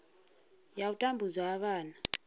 ya u tambudzwa ha vhana